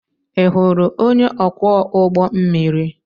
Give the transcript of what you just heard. Ị hụrụ onye ọkwọ ụgbọ mmiri?